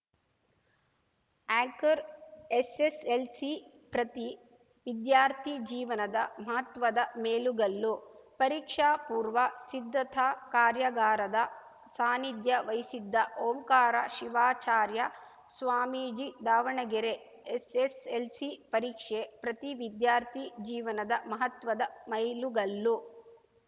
anchor SSLC ಪ್ರತಿ ವಿದ್ಯಾರ್ಥಿ ಜೀವನದ ಮಹತ್ವದ ಮೇಲುಗಲ್ಲು ಪರೀಕ್ಷಾ ಪೂರ್ವ ಸಿದ್ಧತಾ ಕಾರ್ಯಾಗಾರದ ಸಾನಿಧ್ಯ ವಹಿಸಿದ್ದ ಓಂಕಾರ ಶಿವಾಚಾರ್ಯ ಸ್ವಾಮೀಜಿ ದಾವಣಗೆರೆ ಎಸ್‌ಎಸ್‌ಎಲ್‌ಸಿ ಪರೀಕ್ಷೆ ಪ್ರತಿ ವಿದ್ಯಾರ್ಥಿ ಜೀವನದ ಮಹತ್ವದ ಮೈಲುಗಲ್ಲು